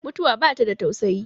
mutuwa ba ta da tausayi